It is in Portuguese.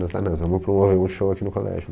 Nós falamos, vamos promover um show aqui no colégio.